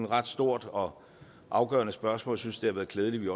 ret stort og afgørende spørgsmål synes det har været glædeligt